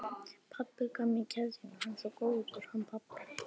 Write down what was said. Pabbi gaf mér keðjuna, hann er svo góður, hann pabbi.